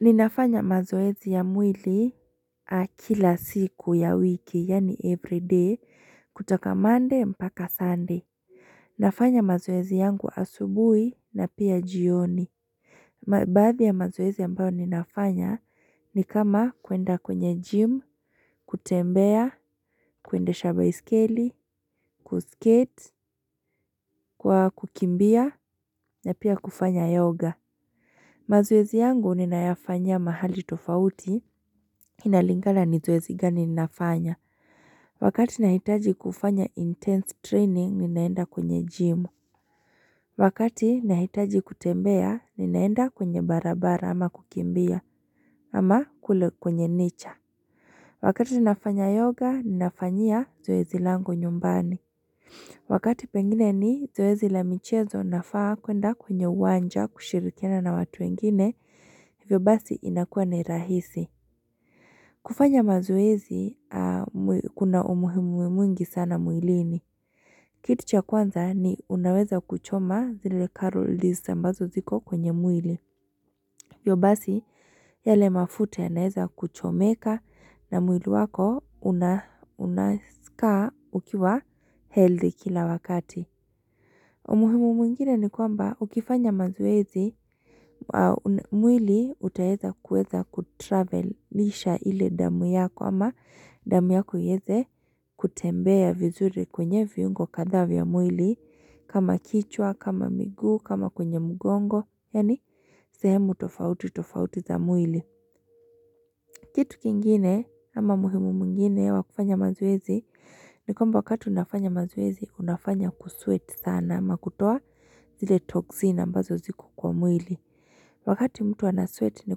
Ninafanya mazoezi ya mwili kila siku ya wiki yaani everyday kutoka monday mpaka sunday Nafanya mazoezi yangu asubuhi na pia jioni Baadhi ya mazoezi ambayo ninafanya ni kama kuenda kwenye gym, kutembea, kuendesha baiskeli, ku skate, kwa kukimbia na pia kufanya yoga mazoezi yangu ninayafanyia mahali tofauti, inalingala ni zoezi gani ninafanya. Wakati nahitaji kufanya intense training, ninaenda kwenye gym. Wakati nahitaji kutembea, ninaenda kwenye barabara ama kukimbia, ama kule kwenye nature. Wakati ninafanya yoga, ninafanyia zoezi langu nyumbani. Wakati pengine ni zoezi la michezo nafaa kuenda kwenye uwanja kushirikina na watu wengine, hivyo basi inakuwa ni rahisi. Kufanya mazoezi, kuna umuhimu mwingi sana mwilini. Kitu cha kwanza ni unaweza kuchoma zile calories ambazo ziko kwenye mwili. Hivyo basi, yale mafuta yanaeza kuchomeka na mwili wako unaskaa ukiwa healthy kila wakati. Umuhimu mwingine ni kwamba ukifanya mazoezi, mwili utaeza kuweza kutravelisha ile damu yako ama damu yako ieze kutembea vizuri kwenye viungo kadhaa vya mwili kama kichwa, kama miguu, kama kwenye mgongo, yaani sehemu tofauti tofauti za mwili. Kitu kingine ama muhimu mwingine wa kufanya mazoezi ni kwamba wakati unafanya mazoezi unafanya kusweat sana ama kutoa zile toxin ambazo ziko kwa mwili. Wakati mtu ana sweat ni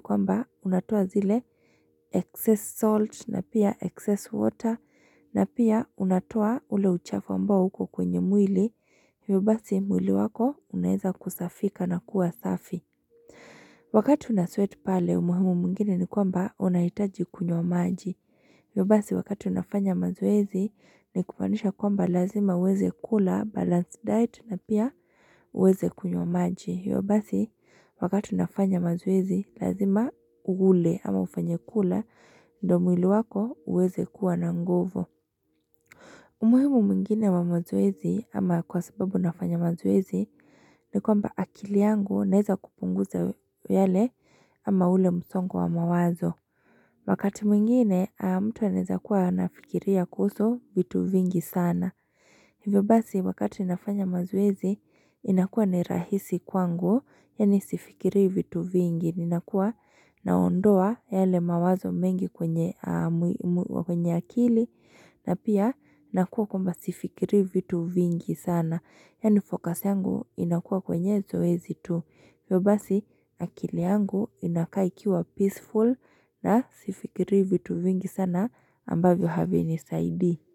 kwamba unatoa zile excess salt na pia excess water na pia unatoa ule uchafu ambao uko kwenye mwili. Hivyo basi mwili wako unaeza kusafika na kuwa safi. Wakati una sweat pale umuhimu mwingine ni kwamba unahitaji kunywa maji. Hivyo basi wakati unafanya mazoezi ni kumaanisha kwamba lazima uweze kula balance diet na pia uweze kunywa maji. Hivyo basi wakati unafanya mazoezi lazima ule ama ufanye kula ndio mwili wako uweze kuwa na nguvu. Umuhimu mwingine wa mazoezi ama kwa sababu unafanya mazoezi ni kwamba akili yangu naeza kupunguza yale ama ule msongo wa mawazo. Wakati mwingine, mtu anaeza kuwa anafikiria kuhusu vitu vingi sana. Hivyo basi, wakati nafanya mazoezi, inakuwa ni rahisi kwangu, yaani sifikirii vitu vingi. Ninakuwa naondoa yale mawazo mengi kwenye akili, na pia nakuwa kwamba sifikirii vitu vingi sana. Yaani focus yangu inakuwa kwenye zoezi tu. Hivyo basi akili yangu inakaa ikiwa peaceful na sifikirii vitu vingi sana ambavyo havinisaidii.